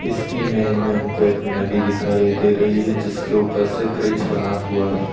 इस इमेज में हमको एक नदी दिखाई दे रही है जिसके ऊपर से ब्रिज बना हुआ है।